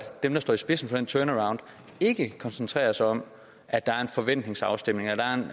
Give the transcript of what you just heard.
dem der står i spidsen for den turnaround ikke koncentrerer sig om at der er en forventningsafstemning at der er en